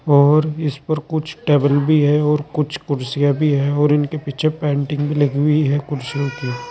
और इस पर कुछ टेबल भी है और कुछ कुर्सियां भी है और उनके पीछे पेंटिंग भी लगी हुई हैं कुर्सियों की--